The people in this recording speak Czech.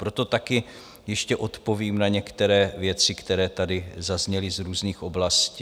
Proto také ještě odpovím na některé věci, které tady zazněly z různých oblastí.